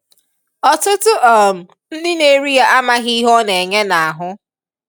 ọtụtụ um ndị na-eri ya amaghị ihe ọ na-enye n'ahụ.